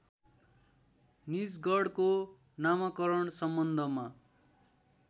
निजगढको नामाकरण सम्बन्धमा